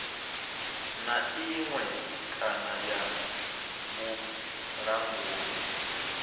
na iṅwe kana ya vhulanguli